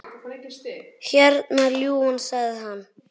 Hérna, ljúfan, sagði hann.